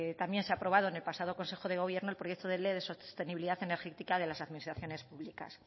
también se ha aprobado en el pasado consejo de gobierno el proyecto de ley de sostenibilidad energética de las administraciones públicas